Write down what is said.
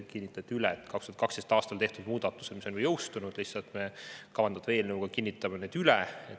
Kinnitati, et 2012. aastal tehtud muudatused, mis on ka jõustunud,, lihtsalt me kavandatava eelnõu kohaselt kinnitame need üle.